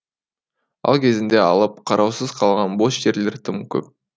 ал кезінде алып қараусыз қалған бос жерлер тым көп